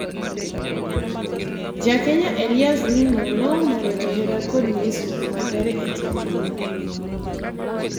Jakenya Elias Ng'no nyomoro johera kod nyisruok makare ee temruok